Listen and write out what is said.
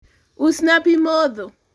usna pi modho